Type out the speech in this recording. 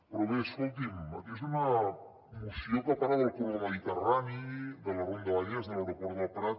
però bé escolti’m és una moció que parla del corredor mediterrani de la ronda vallès de l’aeroport del prat